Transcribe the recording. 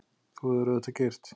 Þú hefðir auðvitað keyrt.